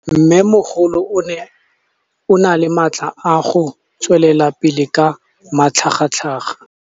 Mmêmogolo o na le matla a go tswelela pele ka matlhagatlhaga.